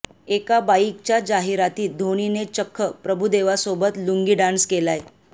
एका बाईकच्या जाहिरातीत धोनीने चक्क प्रभुदेवासोबत लुंगी डान्स केलाय